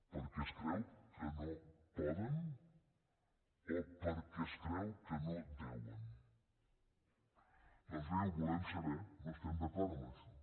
perquè es creu que no poden o perquè es creu que no deuen doncs bé ho volem saber no estem d’acord amb això